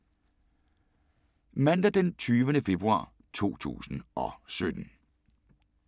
Mandag d. 20. februar 2017